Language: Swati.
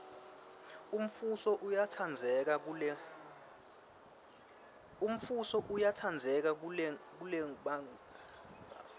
umfuso uyatsandzeka kelebagugile